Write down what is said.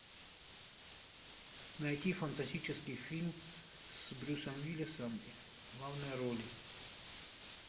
найти фантастический фильм с брюсом уиллисом в главной роли